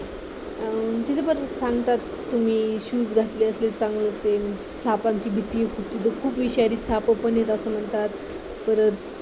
तिथे परत सांगतात तुम्ही shoes घातले असले सापाची भीती असते तिथे खूप विषारी साप पण येतात असं म्हणतात परत